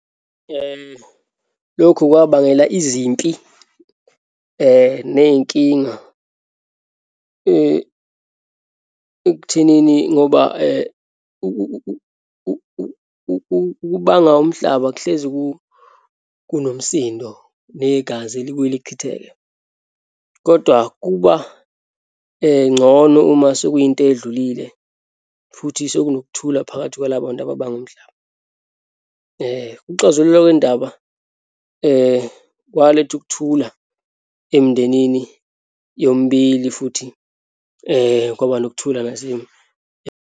Lokhu kwabangela izimpi neyinkinga ekuthenini ngoba ukubanga umhlaba kuhlezi kunomsindo negazi alibuye lichitheke. Kodwa kuba ngcono uma sekuyinto eyedlulile, futhi sekunokuthula phakathi kwalabantu ababanga umhlaba. Ukuxazululwa kwendaba kwaletha ukuthula emndenini yomibili futhi kwaba nokuthula .